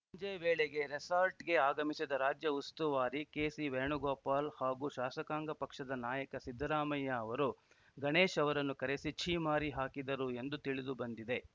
ಸಂಜೆ ವೇಳೆಗೆ ರೆಸಾರ್ಟ್‌ಗೆ ಆಗಮಿಸಿದ ರಾಜ್ಯ ಉಸ್ತುವಾರಿ ಕೆಸಿ ವೇಣುಗೋಪಾಲ್‌ ಹಾಗೂ ಶಾಸಕಾಂಗ ಪಕ್ಷದ ನಾಯಕ ಸಿದ್ದರಾಮಯ್ಯ ಅವರು ಗಣೇಶ್‌ ಅವರನ್ನು ಕರೆಸಿ ಛೀಮಾರಿ ಹಾಕಿದರು ಎಂದು ತಿಳಿದುಬಂದಿದೆ